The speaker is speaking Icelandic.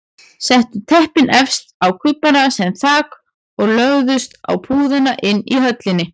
Settu teppin efst á kubbana sem þak og lögðust á púðana inni í höllinni.